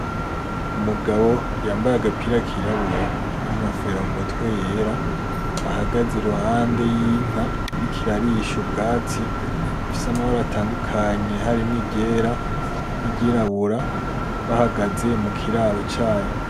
Umugabo yambaye agapira kirabura n'inkofera mu mutwe yera, ahagaze iruhande yinka iriko irarisha ubwatsi ifise amabara atandukanye harimwo iryera n'iryirabura bahagaze mukiraro cayo.